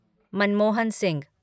Manmohan Singh